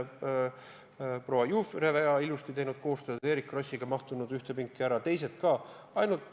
Proua Jufereva on teinud ilusti koostööd, mahtunud Eerik Krossiga ühte pinki, teised ka.